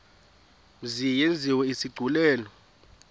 mzi yenziwe isigculelo